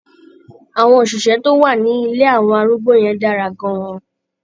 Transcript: Àwọn òṣìṣẹ́ tó wà ní ilé àwọn arúgbó yẹn dára gan-an.